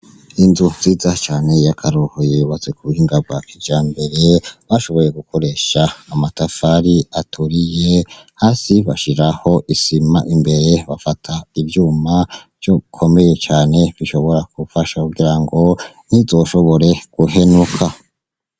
Inzu nziza cane yakaroruhore yubatse kubuhinga bwa kijambere bashoboye gukoresha amatafari aturiye hasi bashiraho isima imbere bafata ivyuma bikomeye bishobora gufasha kugirango ntizoshobore guhenuka.